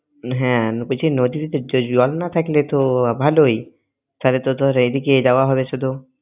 হ্যাঁ নদীতে তো জল না থাকলে তো ভালই তাহলে তো ধর এই দিকে যাওয়া হবে শুধু।